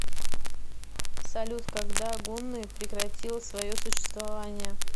салют когда гунны прекратил свое существование